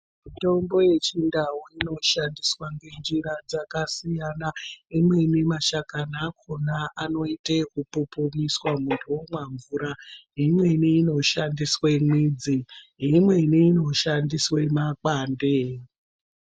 Mitombo yechindau anoshandiswa ngenzjira dzakasiyana imweni mashakani akona anoita eku pupiriswa muntu omwa mvura imweni inoshandise midzi imweni makwande.